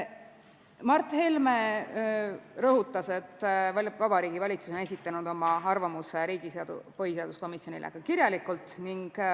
Mart Helme rõhutas, et Vabariigi Valitsus on esitanud oma arvamuse põhiseaduskomisjonile ka kirjalikult.